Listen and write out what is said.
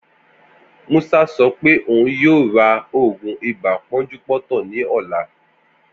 Musa sọ pé òun yoo ra òògùn ibà pọ́njúpọ́tọ̀ ní ọlá